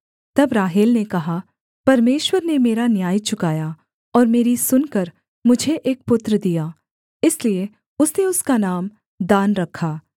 तब राहेल ने कहा परमेश्वर ने मेरा न्याय चुकाया और मेरी सुनकर मुझे एक पुत्र दिया इसलिए उसने उसका नाम दान रखा